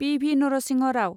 P V. Narasimha Rao